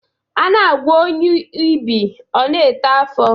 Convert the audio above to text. A na-agwọ onye ibi, ọ na-eto afọ.